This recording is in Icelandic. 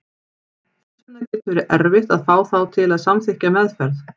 Þess vegna getur verið erfitt að fá þá til að samþykkja meðferð.